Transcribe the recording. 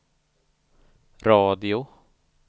radio